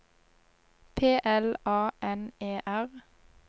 P L A N E R